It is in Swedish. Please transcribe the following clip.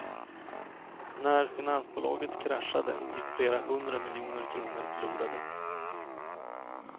När finansbolaget kraschade gick flera hundra miljoner kronor förlorade.